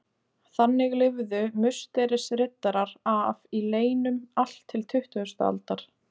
Þannig lifðu Musterisriddarar af í leynum allt til tuttugustu aldar.